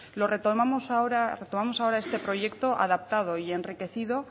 retomamos ahora este proyecto adaptado y enriquecido